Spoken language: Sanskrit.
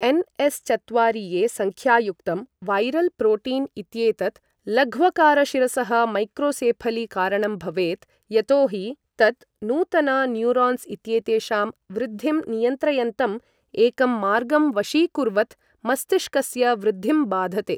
एन्.एस्.चत्वारिए. सङ्ख्यायुक्तं वैरल् प्रोटीन् इत्येतत् लघ्वकार शिरसः मैक्रोसेफली कारणं भवेत् यतोहि तत् नूतन न्यूरान्स् इत्येतेषां वृद्धिं नियन्त्रयन्तम् एकं मार्गं वशीकुर्वत् मस्तिष्कस्य वृद्धिं बाधते।